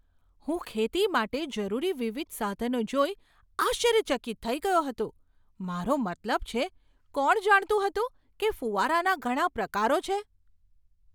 હું ખેતી માટે જરૂરી વિવિધ સાધનો જોઈ આશ્ચર્યચકિત થઈ ગયો હતો. મારો મતલબ છે, કોણ જાણતું હતું કે ફૂવારાના ઘણા પ્રકારો છે?